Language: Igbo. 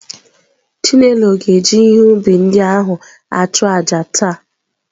Chinelo ga-eji ihe ubi ndị ahụ achụ àjà taa.